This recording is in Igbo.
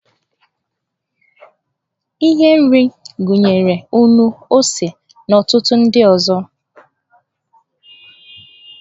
Ihe nri gụnyere nnu, ose, na ọtụtụ ndị ọzọ.